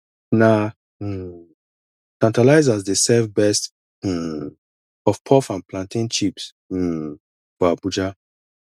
na um tantalizers dey serve best um puffpuff and plantain chips um for abuja